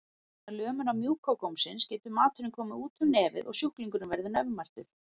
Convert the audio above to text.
Vegna lömunar mjúka gómsins getur maturinn komið út um nefið og sjúklingurinn verður nefmæltur.